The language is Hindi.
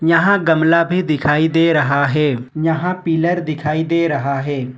यहां गमला भी दिखाई दे रहा है यहां पिलर दिखाई दे रहा है।